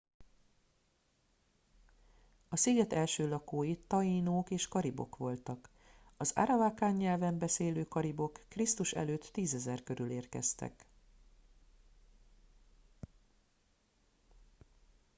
a sziget első lakói taínók és karibok voltak. az arawakan nyelven beszélő karibok kr.e. 10 000 körül érkeztek